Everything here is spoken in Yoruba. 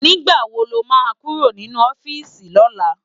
Nigbá wó ló má kúró ninú òfisi lòlá?